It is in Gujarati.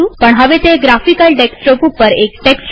પણ હવે તે ગ્રાફિકલ ડેસ્કટોપ ઉપર એક ટેક્સ્ટ વિન્ડો છે